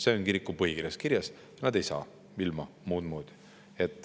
See on kiriku põhikirjas kirjas, nad ei saa muud moodi.